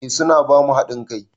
Eh su na ba mu haɗin kai.